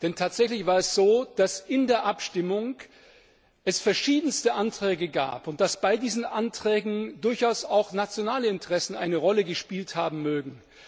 Denn tatsächlich war es so, dass es in der Abstimmung verschiedenste Anträge gab und dass bei diesen Anträgen durchaus auch nationale Interessen eine Rolle gespielt haben mögen.